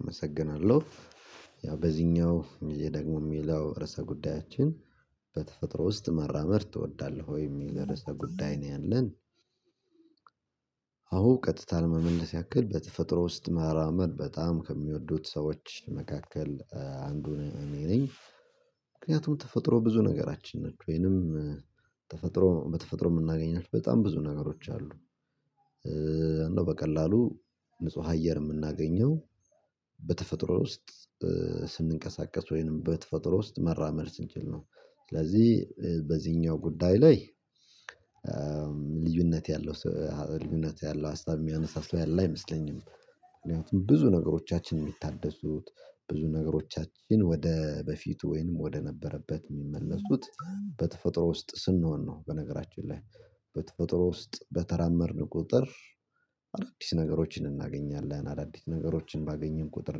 አመሰግናለሁ ያው በዚህኛው እኔ ደግሞ የሚለው ርዕሰ ጉዳያችን በተፈጥሮ ውስጥ መራመድ ትወዳለህ ወይ የሚል እርሰ ጉዳይ ነው ያለን? ቀጥታ ለመመለስ ያክል በተፈጥሮ ውስጥ መራመድ በጣም ከሚወዱት ሰዎች መካከል አንዱ እኔ ነኝ። ምክንያቱም ተፈጥሮ ብዙ ነገራችን ነች ወይንም ተፈጥሮ በተፈጥሮ የምናገኛት በጣም ብዙ ነገሮች አሉ። እንደው በቀላሉ ንጹህ አየር የምናገኘው በተፈጥሮ ውስጥ ስንቀሳቀስ ወይንም በተፈጥሮ ውስጥ መራመድ ስንችል ነው። ስለዚህ በዚህኛው ጉዳይ ላይ ልዩነት ያለው ልዩነት ያለው ሀሳብ የሚያነሳ ሰው ያለ አይመስለኝም። ምክንያቱም ብዙ ነገሮቻችን የሚታደሱት ብዙ ነገሮቻችን ወደ በፊት ወይንም ወደ ነበረበት የሚመለሱት በተፈጥሮ ውስጥ ስንሆን ነው። በነገራችን ላይ በተፈጥሮ ውስጥ በተራመድን ቁጥር አዳዲስ ነገሮችን እናገኛለን አዳዲስ ነገሮችን ባገኘን ቁጥር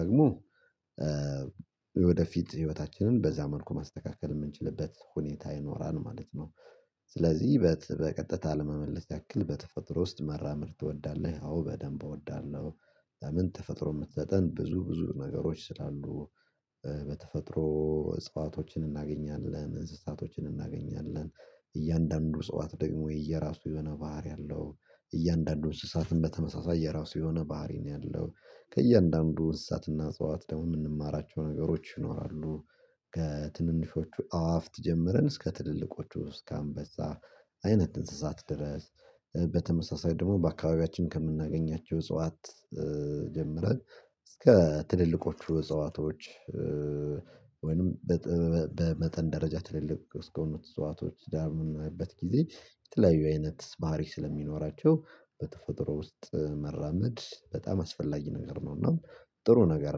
ደግሞ የወደፊት ህይወታችንን በዛ መልኩ ማስተካከል የምንችልበት ሁኔታ ይኖራል ማለት ነው። ስለዚህ በቀጥታ ለመመለስ ያክል በተፈጥሮ ውስጥ መራመድ ትወዳለህ? አዎ በደንብ እወዳለሁ። ለምን ተፈጥሮ የምትሰጠን ብዙ ብዙ ነገሮች ስላሉ በተፈጥሮ እጽዋቶችን እናገኛለን እንስሳቶችን እናገኛለን እያንዳንዱ እጽዋት ደግሞ የየራሱ የሆነ ባህሪ አለው እያንዳንዱ እንስሳትንም በተመሳሳይ የራሱ የሆነ ባህሪ ነው ያለው። ከእያንዳንዱ እንስሳትና እጽዋት ደግሞ የምንማራቸው ነገሮች ይኖራሉ። ከትንንሾቹ አዋፍት ጀምረን እስከ ትልልቆቹ እስከ አንበሳ አይነት እንስሳት ድረስ በተመሳሳይ ደግሞ በአካባቢያችን ከምናገኛቸው እጽዋት ጀመረን እስከ ትልልቆቹ እጽዋቶች ወይንም በመጠን ደረጃ ትልልቅ እስከሆኑ እጽዋቶች ዳር በምናይበት ጊዜ የተለያዩ አይነት ባህሪ ስለሚኖራቸው በተፈጥሮ ውስጥ መራመድ በጣም አስፈላጊ ነገር ነው እና ጥሩ ነገር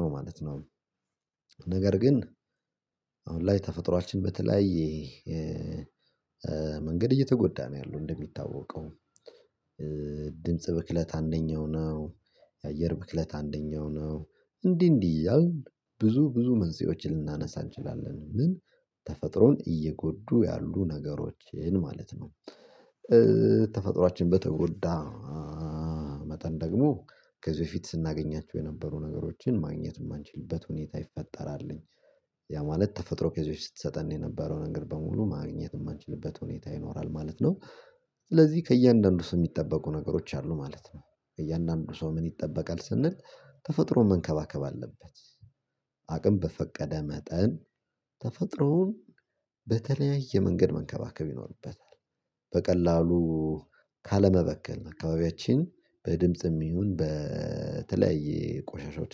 ነው ማለት ነው። ነገር ግን አሁን ላይ ተፈጥሮአችን በተለያየ መንገድ እየተጎዳ ነው ያለው እንደሚታወቀው ድምጽ ብክለት አንደኛው ነው። የአየር ብክለት አንደኛው ነው። እንዲህ እንዲህ እያልን ብዙ ብዙ መንስኤዎችን ልናነሳ እንችላለን ምን ተፈጥሮን እየጎዱ ያሉ ነገሮችን ማለት ነው። ተፈጥሮአችን በተጎዳ መጠን ደግሞ ከዚህ በፊት ስናገኛቸው የነበሩ ነገሮችን ማግኘት የማንችልበት ሁኔታ ይፈጠራልኝ ያ ማለት ተፈጥሮ ከዚህ በፊት ስትሰጠን የነበረው ነገር በሙሉ ማግኘት የማንችልበት ሁኔታ ይኖራል ማለት ነው። ስለዚህ ከእያንዳንዱ ሰው የሚጠበቁ ነገሮች አሉ ማለት ነው እያንዳንዱ ሰው ምን ይጠበቃል ስንል ተፈጥሮ መንከባከብ አለበት። አቅም በፈቀደ መጠን ተፈጥሮን በተለያየ መንገድ መንከባከብ ይኖርበታል። በቀላሉ ካለመበክል አካባቢያችን በድምጽም ይሁን በተለያየ ቆሻሻዎች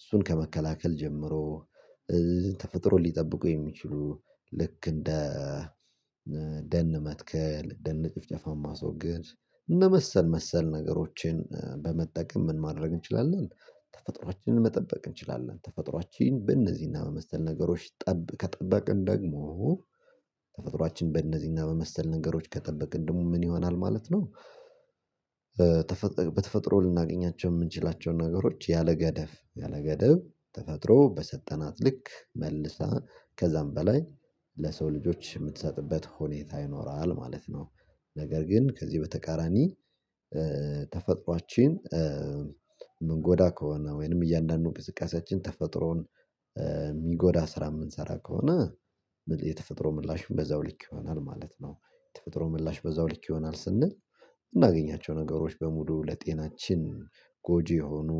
እሱን ከመከላከል ጀምሮ ተፈጥሮ ሊጠብቁ የሚችሉ ልክ እንደ ደን መትከል ደን ጭፍጨፋን ማስወገድ እንደ መሰል መሰል ነገሮችን በመጠቀም ምን ማድረግ እንችላለን? ተፈጥሮአችንን መጠበቅ እንችላለን ተፈጥሮአችን በእነዚህና በመሰል ነገሮች ጠብ ከጠበቅን ደግሞ ተፈጥሮአችን በእነዚህና በመሰል ነገሮች ከጠበቅን ደግሞ ምን ይሆናል ማለት ነው። በተፈጥሮ ልናገኛቸው የምንችላቸውን ነገሮች ያለገደብ ያለገደብ ተፈጥሮ በሰጠናት ልክ መልሳ ከዛም በላይ ለሰው ልጆች የምትሰጥበት ሁኔታ ይኖራል ማለት ነው። ነገር ግን ከዚህ በተቃራኒ ተፈጥሮአችን ምንጎዳ ከሆነ ወይንም እያንዳንዱን እንቅስቃሴያችን ተፈጥሮን የሚጎዳ ስራ የምንሰራ ከሆነ የተፈጥሮ ምላሽም በዛው ልክ ይሆናል ማለት ነው። የተፈጥሮ ምላሽ በዛው ልክ ይሆናል ስንል እምናገኛቸው ነገሮች በሙሉ ለጤናችን ጎጂ የሆኑ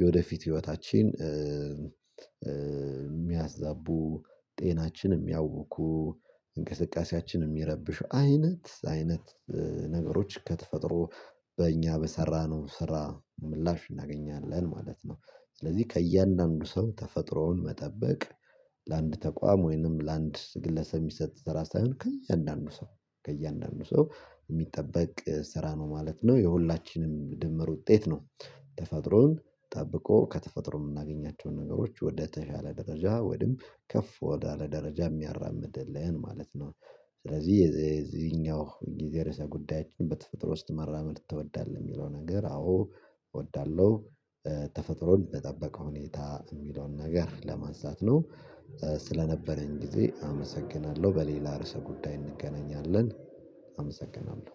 የወደፊት ህይወታችን የሚያዛቡ ጤናችንም የሚያዉኩ እንቅስቃሴያችንን የሚረብሹ አይነት አይነት ነገሮች ከተፈጥሮ በእኛ በሰራነው ስራ ምላሽ እናገኛለን ማለት ነው። ስለዚህ ከእያንዳንዱ ሰው ተፈጥሮውን መጠበቅ ለአንድ ተቋም ወይንም ለአንድ ግለሰብ የሚሰጥ ስራ ሳይሆን ከእያንዳንዱ ሰው ከእያንዳንዱ ሰው የሚጠበቅ ስራ ነው ማለት ነው። የሁላችንም ድምር ውጤት ነው ተፈጥሮን ጠብቆ ከተፈጥሮ የምናገኛቸውን ነገሮች ወደተሻለ ደረጃ ወይም ከፍ ወዳለ ደረጃ የሚያራምድልን ማለት ነው። ስለዚህ የዚህኛው የዚህ የርዕሰ ጉዳያችን በተፈጥሮ ውስጥ መራመድ ትወዳለህ? የሚለው ነገር አዎ እወዳለሁ። ተፈጥሮን በጠበቀ ሁኔታ የሚለውን ነገር ለማንሳት ነው። ስለነበረኝ ጊዜ አመሰግናለሁ በሌላ ርዕሰ ጉዳይ እንገናኛለን። አመሰግናለሁ